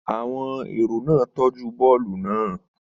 Àwọn èrò náà tọ́jú bọ́ọ̀lù náà.